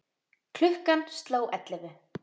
Klukkan sló ellefu.